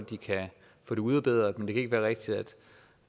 de kan få det udbedret men det kan ikke være rigtigt